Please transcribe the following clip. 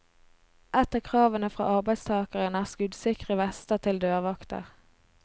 Et av kravene fra arbeidstagerne er skuddsikre vester til dørvakter.